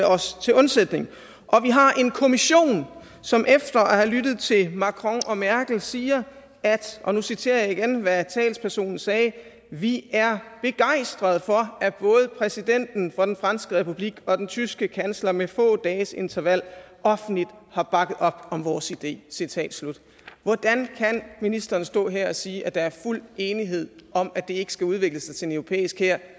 os til undsætning og vi har en kommission som efter at have lyttet til macron og merkel siger og nu citerer jeg hvad talspersonen sagde vi er begejstret for at både præsidenten for den franske republik og den tyske kansler med få dages interval offentligt har bakket op om vores idé citat slut hvordan kan ministeren stå her og sige at der er fuld enighed om at det ikke skal udvikle sig til en europæisk hær